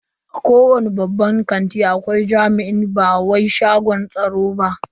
A kowani babban shagon kanti akwai jami'i ba baiwa shagon tsaro.